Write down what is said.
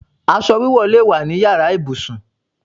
Aṣọ wíwọ̀ lè wá nínu yàrá ibùsùn.